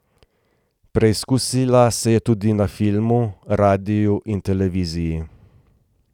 Preizkusila se je tudi na filmu, radiu in televiziji.